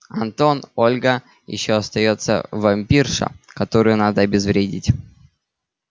антон ольга ещё остаётся вампирша которую надо обезвредить